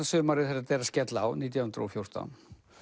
sumarið þegar þetta er að skella á nítján hundruð og fjórtán